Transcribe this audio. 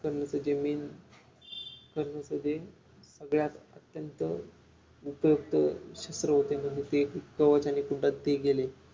कर्णच जे Main कर्णच जे सगळ्यात अत्यंत महत्वाचं छ्त्र होत म्हणजे ते कवच आणि कुंडल ते गेले